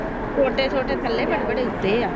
ਛੋਟੇ ਛੋਟੇ ਥੱਲੇ ਵੱਡੇ ਵੱਡੇ ਉਚੇ ਆ